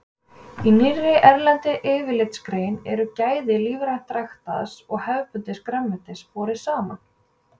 Í nýlegri erlendri yfirlitsgrein eru gæði lífrænt ræktaðs og hefðbundins grænmetis borin saman.